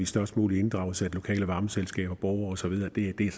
størst mulig inddragelse af det lokale varmeselskab borgere og så videre det er